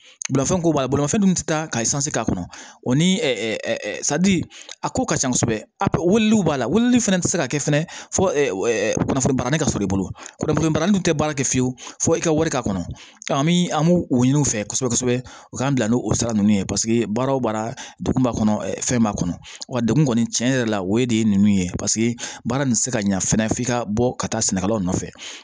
Bolimafɛn ko b'a la bolimafɛn dun tɛ taa ka k'a kɔnɔ o ni a ko ka ca kosɛbɛ wulili b'a la wulili fɛnɛ ti se ka kɛ fɛnɛ fɔ ɛɛ kunnafoni barani ka sɔrɔ i bolo kunnafoni barani dun te baara kɛ fiyewu fo i ka wari ka kɔnɔ an bi an b'u ɲini u fɛ kosɛbɛ kosɛbɛ u k'an bila n'o sira nunnu ye paseke baara o baara degun b'a kɔnɔ fɛn b'a kɔnɔ wa degun kɔni tiɲɛ yɛrɛ la o de ye ninnu ye paseke baara nin tɛ se ka ɲɛ fɛnɛ f'i ka bɔ ka taa sɛnɛkɛlaw nɔfɛ